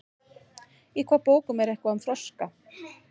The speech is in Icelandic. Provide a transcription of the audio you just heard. Í hvaða bókum er eitthvað um froska?